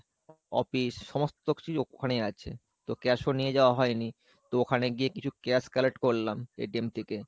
office সমস্ত কিছুই ওখানে আছে তো cash ও নিয়ে যাওয়া হয়নি তো ওখানে গিয়ে কিছু cash collection করলাম থেকে।